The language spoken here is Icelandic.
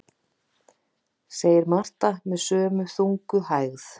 segir Marta með sömu þungu hægð.